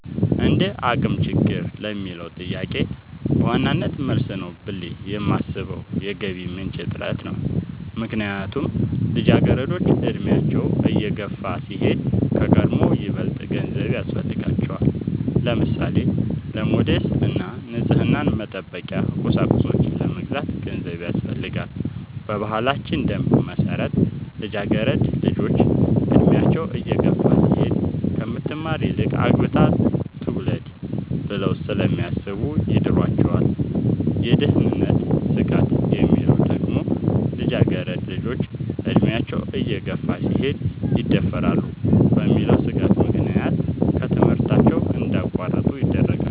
እንደአቅም ችግር ለሚለው ጥያቄ በዋናነት መልስ ነው ብሌ የማሥበው የገቢ ምንጭ እጥረት ነው። ምክንያቱም ልጃገረዶች አድሚያቸው እየገፋ ሲሄድ ከቀድሞው ይበልጥ ገንዘብ ያሥፈልጋቸዋል። ለምሳሌ:-ለሞዴስ እና ንፅህናን መጠበቂያ ቁሳቁሶች ለመግዛት ገንዘብ ያሥፈልጋል። በባህላችን ደንብ መሠረት ልጃገረድ ልጆች እድሚያቸው እየገፋ ሲሄድ ከምትማር ይልቅ አግብታ ትውለድ ብለው ስለሚያሥቡ ይድሯቸዋል። የደህንነት ስጋት የሚለው ደግሞ ልጃገረድ ልጆች አድሚያቸው እየገፋ ሲሄድ ይደፈራሉ በሚል ሥጋት ምክንያት ከትምህርታቸው እንዲያቋርጡ ይደረጋሉ።